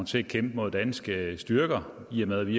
til at kæmpe mod danske styrker i og med at vi